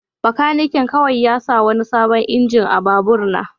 Bakanikin kawai ya sa wani sabon injin a babur na.